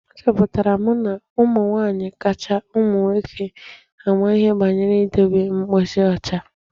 Achọpụtara m na ụmụ nwaanyị kacha ụmụ nwoke ama ihe banyere idebe ebe mposi ọcha.